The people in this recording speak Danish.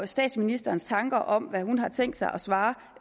statsministerens tanker om hvad hun har tænkt sig at svare